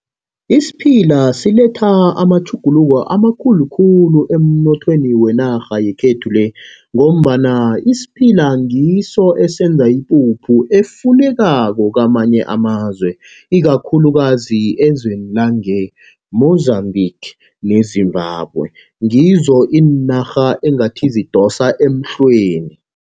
Isiphila siletha amatjhuguluko amakhulu khulu emnothweni wenarha yekhethu le, ngombana isiphila ngiso esenza ipuphu efunekako kamanye amazwe. Ikakhulukazi elizweni lange-Mozambique neZimbabwe, ngizo iinarha engathi zidosa emhlweni.